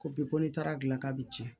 Ko bi ko ni taara gilan k'a bi cɛn